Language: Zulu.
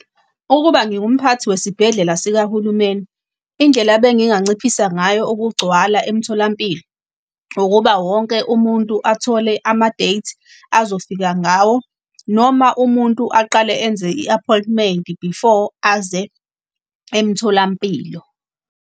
Ukube ngingumphathi wesibhedlela sikahulumeni, indlela benginganciphisa ngayo ukugcwala emtholampilo, ukuba wonke umuntu athole ama-date azofika ngawo noma umuntu aqale enze i-appointment before aze emtholampilo.